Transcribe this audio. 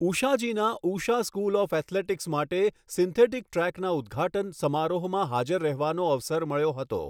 ઉષાજીના Usha school of athletics માટે synthetic ટ્રેકના ઉદ્ઘાટન સમારોહમાં હાજર રહેવાનો અવસર મળ્યો હતો.